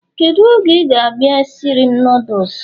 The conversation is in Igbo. Kedu oge ị ga-abịa isiri m noodles?